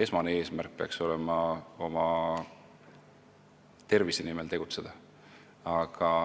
esmane eesmärk peaks olema oma tervise nimel tegutseda.